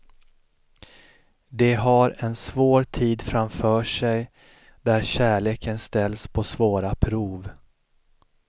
De har en svår tid framför sig, där kärleken ställs på svåra prov.